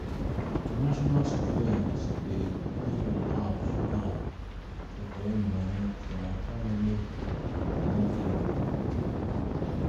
international students dey depend on apps now to collect money from family monthly.